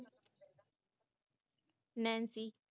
Nancy